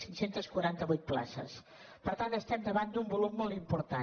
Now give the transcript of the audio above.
cinc cents i quaranta vuit places per tant estem davant d’un volum molt important